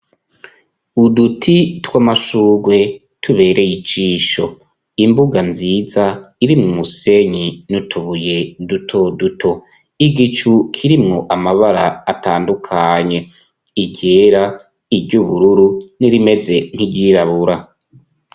Uduti tw'amashurwe tubereye ijisho. Imbuga nziza irimwo umusenyi n'utubuye duto duto. Igicu kirimwo amabara atandukanye, iryera, iry'ubururu, n'irimeze nk'iryirabura.